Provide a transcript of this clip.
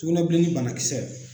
Tugunɛbilennin banakisɛ.